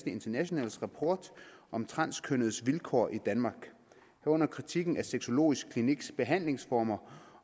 internationals rapport om transkønnedes vilkår i danmark herunder kritikken af sexologisk kliniks behandlingsformer